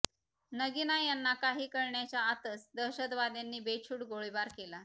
नगीना यांना काही कळण्याच्या आतच दहशतवाद्यांनी बेछूट गोळीबार केला